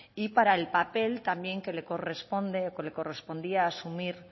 y para el papel también que le corresponde o que le correspondía asumir